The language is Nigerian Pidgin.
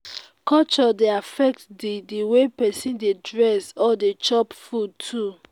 culture dey affect di di way persin de dress or de chop food too